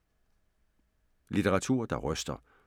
Litteratur der ryster